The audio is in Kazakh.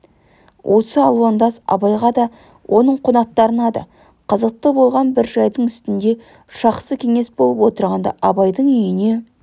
осы алуандас абайға да оның қонақтарына да қызықты болған бір жайдың үстінде жақсы кеңес болып отырғанда абайдың үйіне